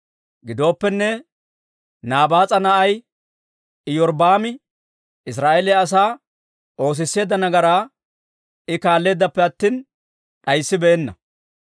Gidooppenne Naabaas'a na'ay Iyorbbaami Israa'eeliyaa asaa oosisseedda nagaraa I kaalleeddappe attina d'ayssibeenna.